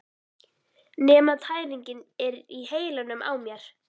Nema tæringin er í heilanum á mér!